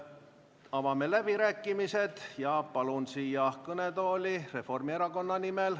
Avame läbirääkimised ja palume siia kõnetooli Kalle Laaneti Reformierakonna nimel.